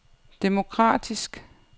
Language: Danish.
demokratisk